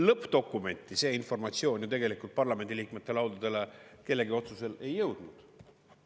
Lõppdokumenti see informatsioon ju tegelikult parlamendiliikmete laudadele kellegi otsusel ei jõudnud.